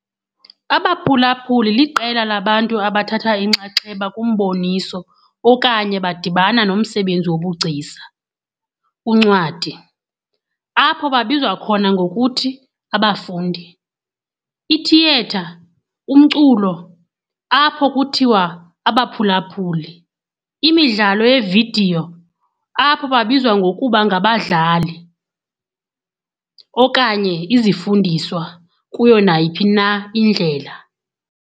Abaphulaphuli liqela labantu abathatha inxaxheba kumboniso okanye badibana nomsebenzi wobugcisa, uncwadi, apho babizwa khona ngokuthi "abafundi", ithiyetha, umculo, apho kuthiwa "abaphulaphuli", imidlalo yevidiyo, apho babizwa ngokuba "ngabadlali", okanye izifundiswa kuyo nayiphi na indlela.